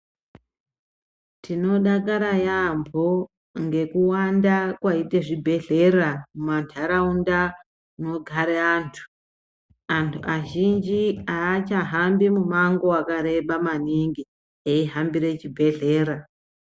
Tinodakara yaambo ngekuwanda kwaite zvibhedhlera mumantaraunda munogare antu. Antu azhinji hachahambi mumango vakareba maningi eihambire chibhedhlera.